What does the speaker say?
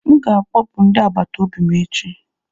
M ga-akpọpụ ndị agbata obi m echi.